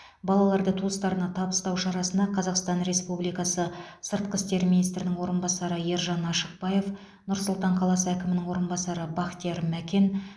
балаларды туыстарына табыстау шарасына қазақстан республикасы сыртқы істер министрінің орынбасары ержан ашықбаев нұр сұлтан қаласы әкімінің орынбасары бақтияр мәкен